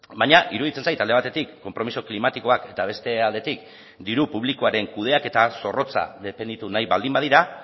baina iruditzen zait alde batetik konpromiso klimatikoak eta beste aldetik diru publikoaren kudeaketa zorrotza defenditu nahi baldin badira